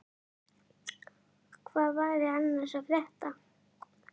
Hvað væri annars að frétta?